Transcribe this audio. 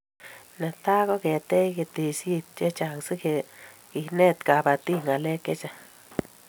Netai koketech keteshet chechang si kenet kabatik ngalek chechang